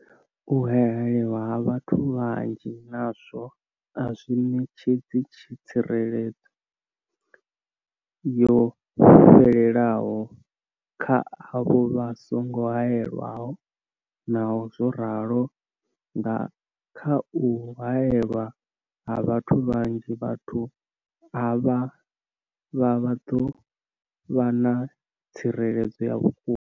U haelwa ha vhathu vhanzhi nazwo a zwi ṋetshedzi tsireledzo yo fhelelaho kha avho vha songo haelwaho, Naho zwo ralo, nga kha u haelwa ha vhathu vhanzhi, vhathu avha vha ḓo vha na tsireledzo ya vhukuma.